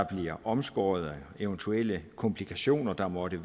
bliver omskåret og eventuelle komplikationer der måtte